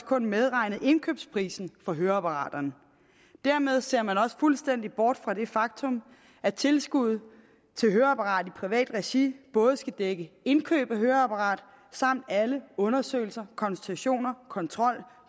kun medregnet indkøbsprisen på høreapparaterne dermed ser man fuldstændig bort fra det faktum at tilskuddet til høreapparater privat regi både skal dække indkøbet af høreapparat samt alle undersøgelser konsultationer kontrol